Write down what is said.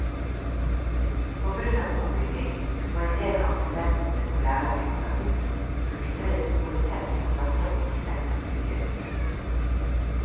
På grunn av ombygging må endel av studentene på lærerutdannelsen bruke tre store telt som klasserom i seks uker i høst.